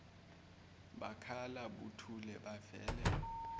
bakhala buthule bavele